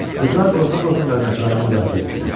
Qızlar qorxa-qorxa qardaşlarını müdafiə etdilər.